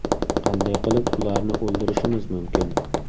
Qanday qilib ularni o‘ldirishimiz mumkin?